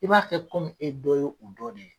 I b'a kɛ e dɔ ye u dɔ de ye.